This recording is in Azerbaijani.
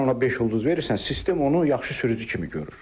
Sən ona beş ulduz verirsən, sistem onu yaxşı sürücü kimi görür.